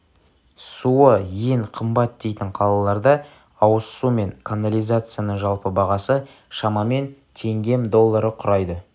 суы ең қымбат дейтін қалаларда ауыз су мен канализацияның жалпы бағасы шамамен теңгем доллары құрайды